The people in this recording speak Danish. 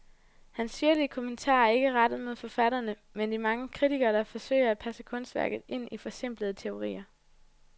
Hans syrlige kommentarer er ikke rettet mod forfatterne, men de mange kritikere, der forsøger at passe kunstværket ind i forsimplende teorier.